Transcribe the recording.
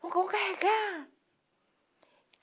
carregar